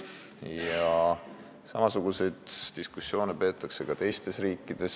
Ja samasuguseid diskussioone peetakse ka teistes riikides.